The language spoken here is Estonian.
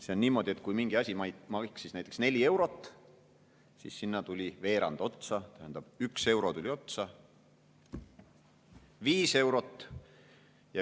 See on niimoodi, et kui mingi asi maksis näiteks neli eurot ja sinna tuli veerand otsa, tähendab, üks euro tuli otsa – viis eurot.